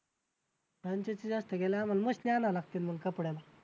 franchise जास्त गेल्यावर मग आम्हाला मशिनी आणायला लागतील मग कपड्याला